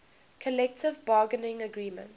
collective bargaining agreement